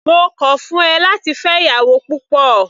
Mo kọ̀ ọ́ fún ẹ láti fẹ́ ìyàwó púpọ̀.